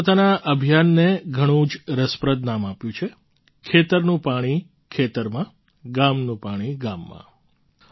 તેમણે પોતાના અભિયાનને ઘણું જ રસપ્રદ નામ આપ્યું છે ખેતરનું પાણી ખેતરમાં ગામનું પાણી ગામમાં